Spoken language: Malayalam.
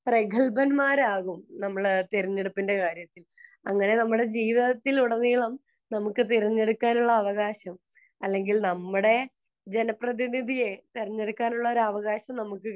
പ്രഗൽഭന്മാർ ആവും നമ്മൾ തിരഞ്ഞെടുപ്പിന്റെ കാര്യത്തിൽ അങ്ങനെ നമ്മുടെ ജീവിത്തിൽ ഉടനീളം നമുക്ക് തിരഞ്ഞെടുക്കാനുള്ള അവകാശം അല്ലെങ്കിൽ നമ്മുടെ ജനപ്രതിനിധിയെ തിരഞ്ഞെടുക്കാനുള്ള ഒരു അവകാശം നമുക്ക്